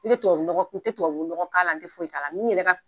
Ne tɛ tubabunɔgɔ k'a la n tɛ foyi k'a la